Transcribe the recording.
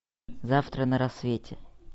завтра на рассвете